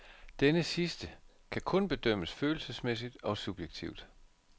Denne sidste kan kun bedømmes følelsesmæssigt og subjektivt.